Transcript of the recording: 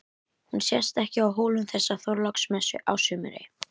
Hún sést ekki á Hólum þessa Þorláksmessu á sumri.